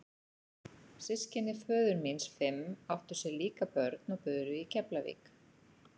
Systkini föður míns fimm áttu sér líka börn og buru í Keflavík.